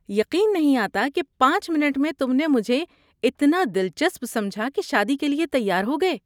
یقین نہیں آتا کہ پانچ منٹ میں تم نے مجھے اتنا دلچسپ سمجھا کہ شادی کے لیے تیار ہو گئے